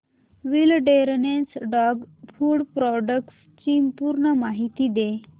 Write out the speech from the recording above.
wilderness dog food products ची पूर्ण माहिती दे